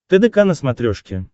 тдк на смотрешке